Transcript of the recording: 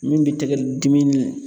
Min bɛ tɛgɛ dimi